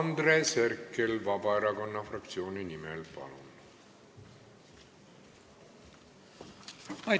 Andres Herkel Vabaerakonna fraktsiooni nimel, palun!